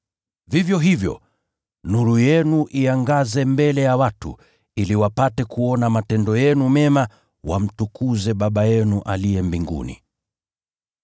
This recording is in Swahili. Vivyo hivyo, nuru yenu iangaze mbele ya watu, ili wapate kuona matendo yenu mema wamtukuze Baba yenu aliye mbinguni.